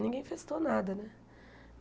Ninguém festou nada, né?